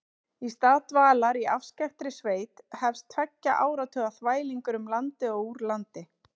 Í stað dvalar í afskekktri sveit hefst tveggja áratuga þvælingur um landið og úr landi.